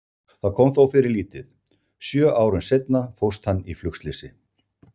Það kom þó fyrir lítið, sjö árum seinna fórst hann í flugslysi.